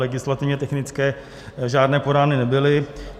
Legislativně technické žádné podány nebyly.